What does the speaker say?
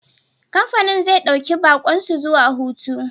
Kamfanin zai dauki baƙon su zuwa hutu.